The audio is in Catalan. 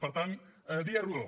per tant dia rodó